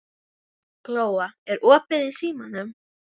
Glóa, er opið í Símanum?